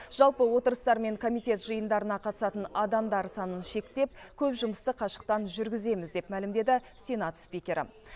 жалпы отырыстар мен комитет жиындарына қатысатын адамдар санын шектеп көп жұмысты қашықтан жүргіземіз деп мәлімдеді сенат спикері